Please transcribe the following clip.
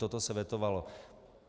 Toto se vetovalo.